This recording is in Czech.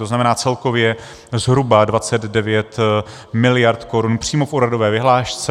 To znamená, celkově zhruba 29 miliard korun přímo v úhradové vyhlášce.